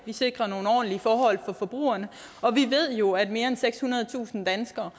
vi sikrer nogle ordentlige forhold for forbrugerne vi ved jo at mere end sekshundredetusind danskere